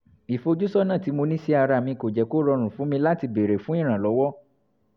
ìfojúsọ́nà tí mo ní sí ara mi kò jẹ́ kó rọrùn fún mi láti béèrè fún ìrànlọ́wọ́